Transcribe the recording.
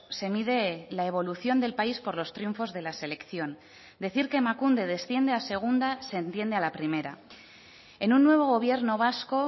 se mide la evolución del país por los triunfos de la selección decir que emakunde desciende a segunda se entiende a la primera en un nuevo gobierno vasco